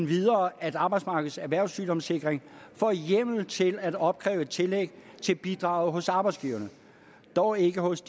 videre at arbejdsmarkedets erhvervssygdomssikring får hjemmel til at opkræve et tillæg til bidraget hos arbejdsgiverne dog ikke hos